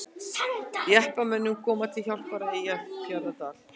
Jeppamönnum komið til hjálpar á Eyjafjarðardal